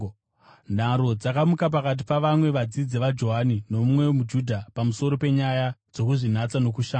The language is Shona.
Nharo dzakamuka pakati pavamwe vadzidzi vaJohani nomumwe muJudha pamusoro penyaya dzokuzvinatsa nokushamba.